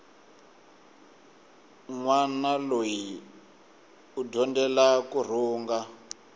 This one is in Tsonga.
nwana loyi u dyondzela kurhunga